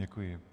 Děkuji.